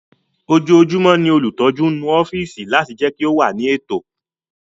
Ojoojúmọ́ ni olùtọ́jú ń nu ọ́fíìsì láti jẹ́ kí ó wà ní ètò